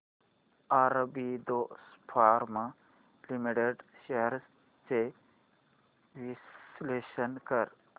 Aurobindo pharma limited shares चे विश्लेषण कर